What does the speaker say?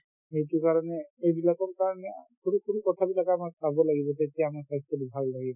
সেইটোৰ কাৰণে এইবিলাকৰ কাৰণে সৰু সৰু কথাবিলাকো আমাৰ চাব লাগিব তেতিয়াহে আমাৰ স্বাস্থ্যতো ভাল থাকিব